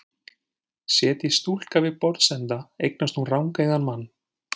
Setjist stúlka við borðsenda eignast hún rangeygðan mann.